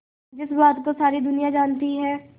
जिस बात को सारी दुनिया जानती है